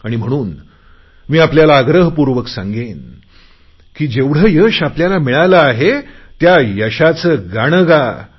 आणि म्हणून मी आपल्याला आग्रहपूर्वक सांगेन की जेवढे यश मिळाले आहे त्या यशाचे गाणे गा